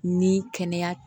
Ni kɛnɛya